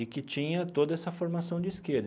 E que tinha toda essa formação de esquerda.